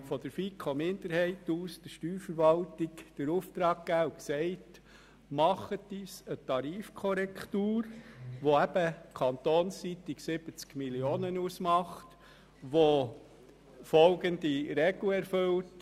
Die FiKo-Minderheit hat der Steuerverwaltung den Auftrag erteilt, eine Tarifkorrektur zu berechnen, die kantonsseitig 70 Mio. Franken ausmacht und folgende Regel erfüllt: